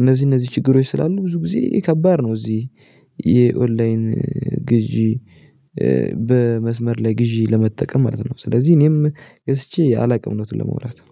እነዚህ እነዚህ ችግሮች ስላሉ ብዙ ጊዜ ከባድ ነው እዚህ የኦንላይን ግዢ። በመስመር ላይ ግዢ ለመጠቀም ማለት ነው ስለዚህ እኔም ገዝቼ አላውቅም እውነቱን ለመውራት ነው